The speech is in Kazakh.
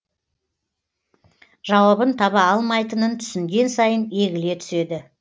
жауабын таба алмайтынын түсінген сайын егіле түседі